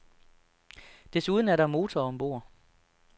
Desuden er der motor ombord.